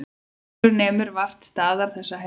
Herjólfur nemur vart staðar þessa helgina